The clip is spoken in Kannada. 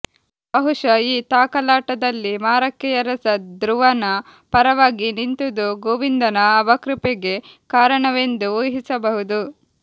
ಬಹುಶಃ ಈ ತಾಕಲಾಟದಲ್ಲಿ ಮಾರಕ್ಕೆಯರಸ ಧ್ರುವನ ಪರವಾಗಿ ನಿಂತುದು ಗೋವಿಂದನ ಅವಕೃಪೆಗೆ ಕಾರಣವೆಂದು ಊಹಿಸಬಹುದು